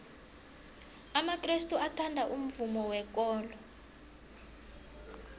amakrestu athanda umvumo wekolo